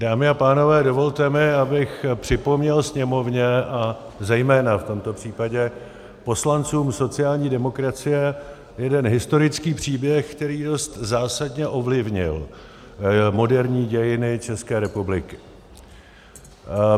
Dámy a pánové, dovolte mi, abych připomněl sněmovně a zejména v tomto případě poslancům sociální demokracie jeden historický příběh, který dost zásadně ovlivnil moderní dějiny České republiky.